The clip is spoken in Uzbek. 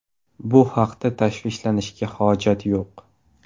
Bu haqda tashvishlanishga hojat yo‘q.